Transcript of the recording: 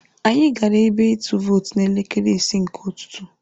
Anyị gara ebe ịtụ vootu n'elekere isii nke ụtụtụ.